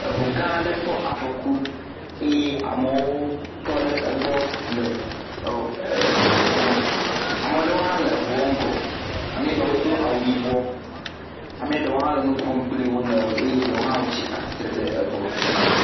Eŋu gã aɖe kpɔ afɔku eye ame tɔ ɖe egbɔ le eŋua kpɔm ame aɖewo le ŋua ƒe ŋgɔ. Ame ɖewo hã le nuƒom kple wonɔewo eye ɖewo hã tsi atsitre ɖe egbɔ.